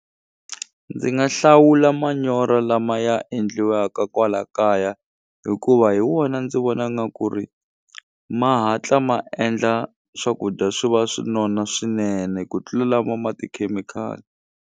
Ndzi nga hlawula manyoro lama ya endliwaka kwala kaya hikuva hi wona ndzi vona nga ku ri ma hatla ma endla swakudya swi va swi nona swinene ku tlula lama ma tikhemikhali.